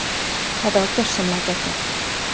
Þetta var gjörsamlega geggjað.